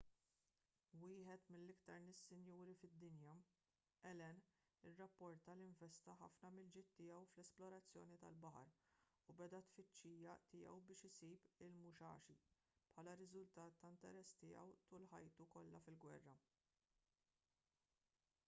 wieħed mill-iktar nies sinjuri fid-dinja allen irrapporta li investa ħafna mill-ġid tiegħu fl-esplorazzjoni tal-baħar u beda t-tfittxija tiegħu biex isib il-musashi bħala riżultat ta' interess tiegħu tul ħajtu kollha fil-gwerra